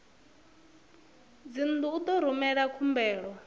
dzingu u ḓo rumela khumbelo